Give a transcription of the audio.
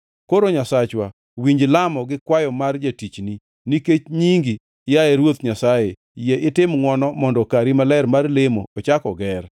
“Koro Nyasachwa, winj lamo gi kwayo mar jatichni. Nikech nyingi, yaye Ruoth Nyasaye, yie itim ngʼwono mondo kari maler mar lemo ochak oger.